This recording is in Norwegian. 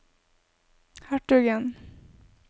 hertugen